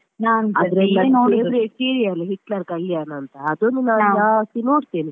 serial Hitler Kalyana ಅಂತ ಅದನ್ನು ನಾನು ಜಾಸ್ತಿ ನೋಡ್ತೇನೆ.